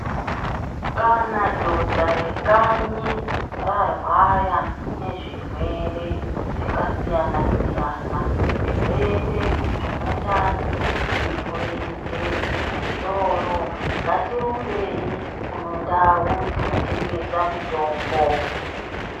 Kana dhodha rekanyi rarwara nezvirwere zvakasiyana-siyana zvirwere zvemundani murenje musoro ngatirumbei kune ndau dzinotengesa mutombo.